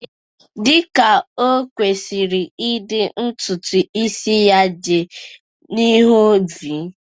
Dị ka o kwesịrị ịdị, ntutu isi ya dị n'ihu-v